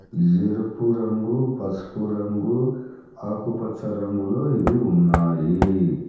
ఎరుపు రంగు పసుపు రంగు ఆకుపచ్చ రంగులో ఇవి ఉన్నాయి.